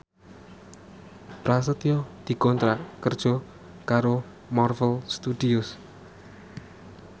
Prasetyo dikontrak kerja karo Marvel Studios